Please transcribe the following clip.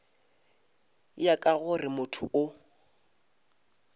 ya ka gore motho o